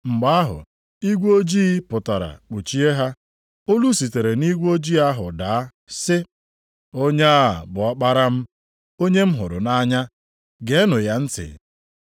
Mgbe ahụ, igwe ojii pụtara kpuchie ha. Olu sitere nʼigwe ojii ahụ daa sị, “Onye a bụ Ọkpara m, onye m hụrụ nʼanya. Geenụ ya ntị.”